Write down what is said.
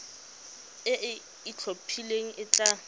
e e itlhophileng e tla